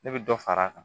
Ne bɛ dɔ far'a kan